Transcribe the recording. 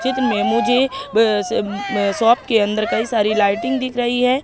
चित्र में मुझे अह उम्म शॉप के अंदर कई सारी लाइटिंग दिख रही है।